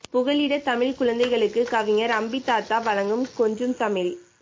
புகலிடத்தமிழ்க்குழந்தைகளுக்கு கவிஞர் அம்பித்தாத்தா வழங்கும் கொஞ்சும்தமிழ்